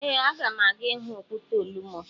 Ee, aga m aga ịhụ okwute Olumo.